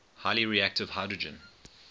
highly reactive hydrogen